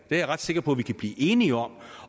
jeg ret sikker på at vi kan blive enige om